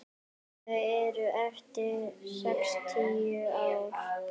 Þau eru eftir sextíu ár.